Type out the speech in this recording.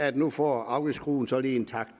at nu får afgiftsskruen så lige en tak